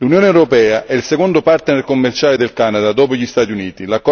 L'Unione europea è il secondo partner commerciale del Canada, dopo gli Stati Uniti.